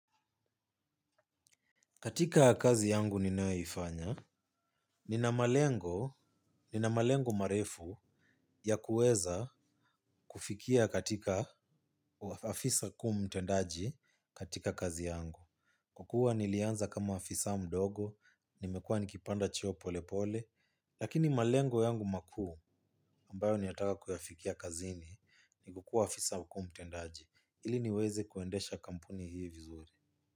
Katika kazi yangu ninayoifanya, nina malengo marefu ya kuweza kufikia katika afisa kuu mtendaji katika kazi yangu. Kwa kuwa nilianza kama afisa mdogo, nimekuwa nikipanda cheo polepole, lakini malengo yangu makuu ambayo ninayataka kuyafikia kazini ni kukuwa afisa mkuu mtendaji. Ili niweze kuendesha kampuni hii vizuri.